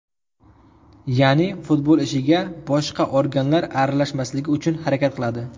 Ya’ni, futbol ishiga boshqa organlar aralashmasligi uchun harakat qiladi.